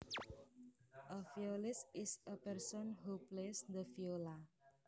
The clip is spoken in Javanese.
A violist is a person who plays the viola